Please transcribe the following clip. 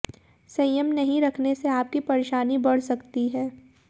संयम नहीं रखने से आपकी परेशानी बढ़ सकती है